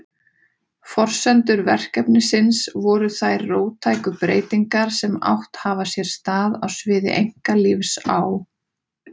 Forsendur verkefnisins voru þær róttæku breytingar sem átt hafa sér stað á sviði einkalífs á